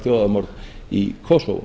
þjóðarmorð í kosovo